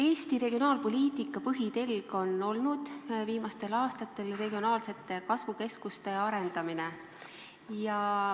Eesti regionaalpoliitika põhitelg on olnud viimastel aastatel regionaalsete kasvukeskuste arendamine.